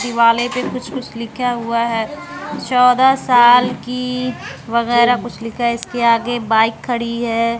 दिवाले पे कुछ कुछ लिखा हुआ है चौदह साल की वगैरा कुछ लिखा है इसके आगे बाइक खड़ी है।